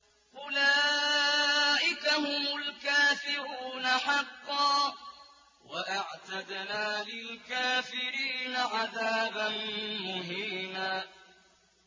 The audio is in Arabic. أُولَٰئِكَ هُمُ الْكَافِرُونَ حَقًّا ۚ وَأَعْتَدْنَا لِلْكَافِرِينَ عَذَابًا مُّهِينًا